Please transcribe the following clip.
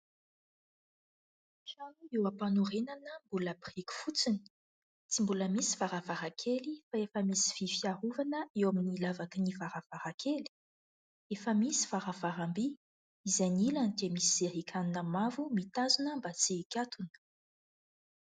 Trano eo am-panorenana mbola biriky fotsiny tsy mbola misy varavarankely, fa efa misy vy fiarovana eo amin' ny lavaky ny varavarankely, efa misy varavaram-by, izay ny ilany dia misy zerikanina mavo mitazona mba tsy hikatona.